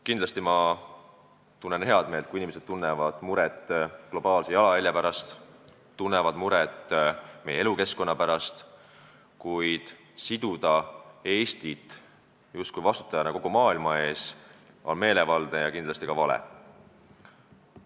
Kindlasti tunnen ma head meelt, kui inimesed tunnevad muret globaalse jalajälje pärast, tunnevad muret meie elukeskkonna pärast, kuid pidada Eestit justkui vastutajaks kogu maailma eest, on meelevaldne ja kindlasti ka vale.